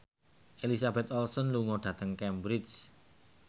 Elizabeth Olsen lunga dhateng Cambridge